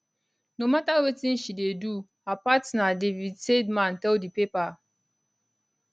no mata wetin she dey do her partner david seidman tell di paper